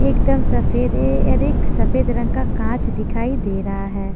एकदम सफेद रे और एक सफेद रंग का कांच दिखाई दे रहा है।